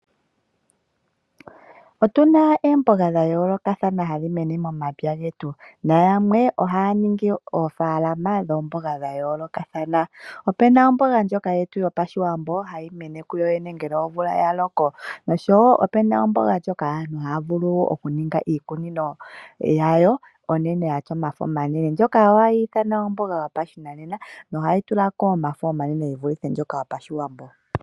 Otu na oomboga dha yoolokathana hadhi mene momapya getu nayamwe ohaya ningi oofaalama dhoomboga dha yoolokathana. Opu na omboga ndjoka hayi mene kuyoyene momapya ngele omvula ya loko, oshowo opu na omboga ndjoka aantu haya ningi iikunino yawo ya tya omafo omanene. Ndjoka ohayi ithanwa omboga yopashinanena nohayi tula ko omafo omanene ge vule yaandjoka hayi mene yoyene momapya.